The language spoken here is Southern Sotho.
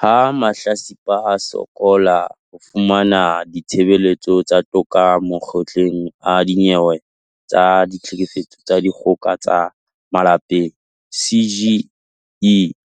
Ha mahlatsipa a sokola ho fumana ditshebeletso tsa toka Makgotleng a Dinyewe tsa Ditlhokofatso tsa Dikgoka tsa ka Malapeng, CGE